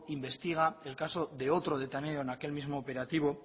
investiga el caso de otro detenido en aquel mismo operativo